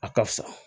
A ka fisa